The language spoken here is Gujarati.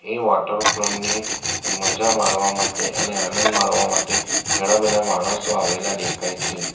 એ વોટર ફોલ ની મજા માણવા માટે અને આનંદ માણવા માટે ઘણા બધા માણસો આવેલા દેખાય છે.